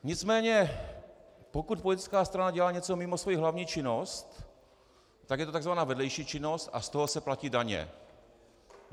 Nicméně pokud politická strana dělá něco mimo svoji hlavní činnost, tak je to tzv. vedlejší činnost a z toho se platí daně.